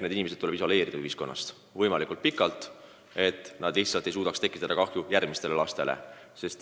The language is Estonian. Need inimesed tuleb isoleerida ühiskonnast võimalikult kauaks ajaks, et nad lihtsalt ei saaks ahistada aina uusi lapsi.